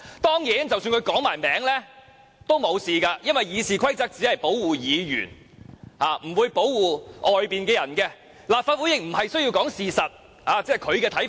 即使他說出當事人名字也沒事，因為《議事規則》只保護議員，不保護外面的人，立法會也無須說事實，這只是他的看法。